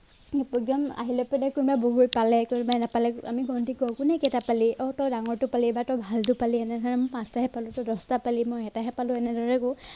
আহিলৈপিনে কোনোবাই বগৰী পালে কোনোবাই নাপালে আমি গন্তি কৰো কোনে কেইটা পালি অ তই ডাঙৰটো পালি বা তই ভালটো পালি মই পাঁচটাহে পালো তই দছটা পালি মই এটাহে পালো এনেদৰে কও